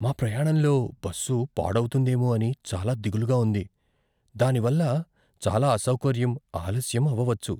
మా ప్రయాణంలో బస్సు పాడవుతుందేమో అని చాలా దిగులుగా ఉంది, దానివల్ల చాలా అసౌకర్యం, ఆలస్యం అవవచ్చు.